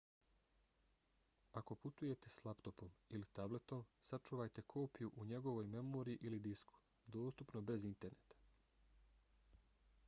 ako putujete s laptopom ili tabletom sačuvajte kopiju u njegovoj memoriji ili disku dostupno bez interneta